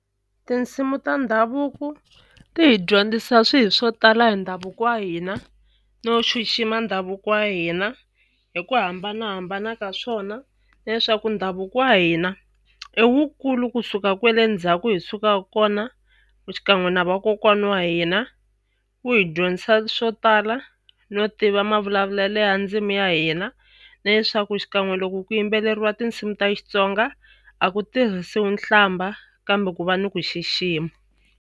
Tinsimu ta ndhavuko ti hi dyondzisa swilo swo tala hi ndhavuko wa hina no xixima ndhavuko wa hina hi ku hambanahambana ka swona na leswaku ndhavuko wa hina i wu kulu kusuka kwale ndzhaku hi sukaka kona xikan'we na vakokwana wa hina wu hi dyondzisa swo tala no tiva mavulavulelo ya ndzimi ya hina na leswaku xikan'we loko ku yimbeleriwa tinsimu ta Xitsonga a ku tirhisiwi nhlamba kambe ku va ni ku xixima.